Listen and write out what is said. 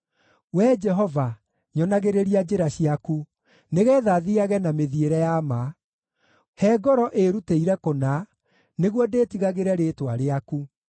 Wee Jehova, nyonagĩrĩria njĩra ciaku, nĩgeetha thiiage na mĩthiĩre ya ma; he ngoro ĩĩrutĩire kũna, nĩguo ndĩĩtigagĩre rĩĩtwa rĩaku.